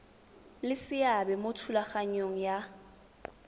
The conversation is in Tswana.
le seabe mo thulaganyong ya